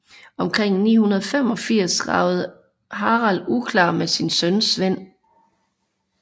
Omkring 985 ragede Harald uklar med sin søn Svend